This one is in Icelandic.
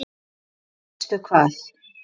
Og veistu hvað?